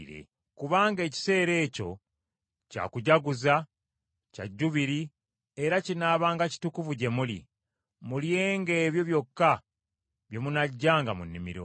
Kubanga ekiseera ekyo kya kujaguza kya Jjubiri era kinaabanga kitukuvu gye muli; mulyenga ebyo byokka bye munaggyanga mu nnimiro.